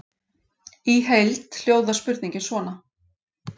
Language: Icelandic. Í heild hljóðar spurningin svona: